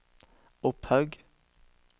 Opphaug